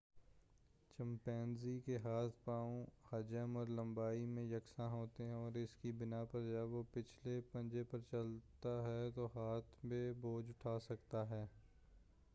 chimpanzee کے ہاتھ پاؤں حجم اور لمبائی میں یکساں ہوتے ہیں اور اس کی بنا پر جب وہ پچھلے پنجے پر چلتا ہے تو ہاتھ میں بوجھ اٹھا سکتا ہے